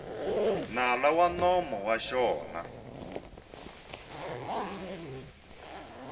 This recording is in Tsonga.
nala wa nomo wa xona